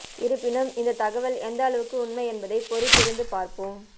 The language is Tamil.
இருப்பினும் இந்த தகவல் எந்த அளவுக்கு உண்மை என்பதை பொறுத்திருந்து பார்ப்போம்